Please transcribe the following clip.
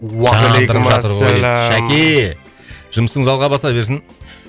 уағалейкумассалям шәке жұмысыңыз алға баса берсін